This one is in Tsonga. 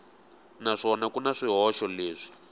naswona ku na swihoxo leswi